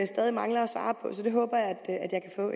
stadig mangler